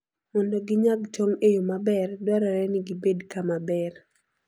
Mondo ginyag tong' e yo maber, dwarore ni gibed kama ber.